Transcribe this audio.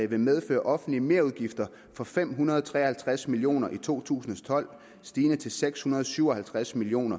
vil medføre offentlige merudgifter for fem hundrede og tre og halvtreds million kroner i to tusind og tolv stigende til seks hundrede og syv og halvtreds million